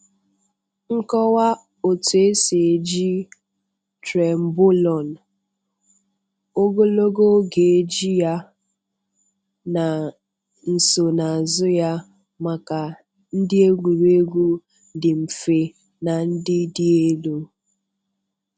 Nkọwa otú esi eji Trenbolone, ogologo oge eji ya, na nsonaazu ya maka ndị egwuregwu dị mfe na ndị dị elu.